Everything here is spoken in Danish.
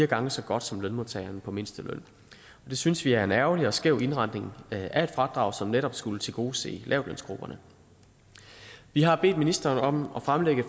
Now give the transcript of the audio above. gange så godt som lønmodtageren på mindsteløn det synes vi er en ærgerlig og skæv indretning af et fradrag som netop skulle tilgodese lavtlønsgrupperne vi har bedt ministeren om at fremlægge